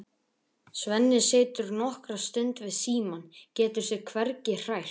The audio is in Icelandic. Svenni situr nokkra stund við símann, getur sig hvergi hrært.